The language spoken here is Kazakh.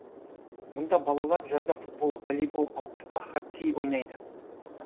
мұнда балалар жазда футбол волейбол ал қыста хоккей ойнайды